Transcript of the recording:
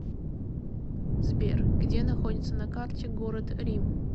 сбер где находится на карте город рим